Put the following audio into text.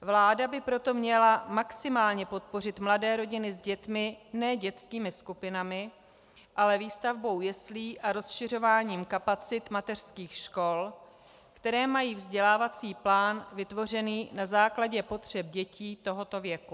Vláda by proto měla maximálně podpořit mladé rodiny s dětmi ne dětskými skupinami, ale výstavbou jeslí a rozšiřováním kapacit mateřských škol, které mají vzdělávací plán vytvořený na základě potřeb dětí tohoto věku.